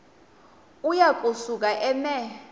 uya kusuka eme